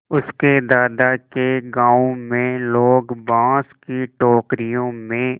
उसके दादा के गाँव में लोग बाँस की टोकरियों में